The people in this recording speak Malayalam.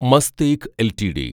മസ്തേക്ക് എൽടിഡി